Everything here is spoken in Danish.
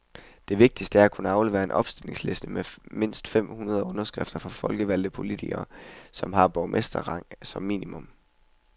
Det vigtigste er at kunne aflevere en opstillingsliste med mindst fem hundrede underskrifter fra folkevalgte politikere, som har borgmesterrang som minimum.